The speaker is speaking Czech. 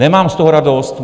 Nemám z toho radost.